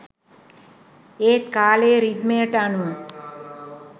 ඒත් කාලයේ රිද්මයට අනුව